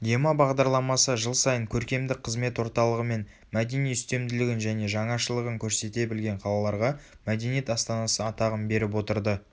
ема бағдарламасы жыл сайын көркемдік қызмет орталығы мен мәдени үстемділігін және жаңашылығын көрсете білген қалаларға мәдениет астанасы атағын беріп отырды